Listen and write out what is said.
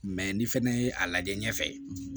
Mɛ ni fɛnɛ ye a lajɛ ɲɛfɛ